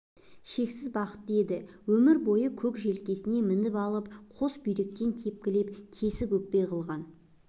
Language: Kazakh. шексіз бақытты еді өмір бойы көк желкесіне мініп алып қос бүйірден тепкілеп тесік өкпе қылған